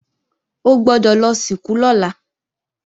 O gbọ́dọ̀ lọ sìnkú lọ́la!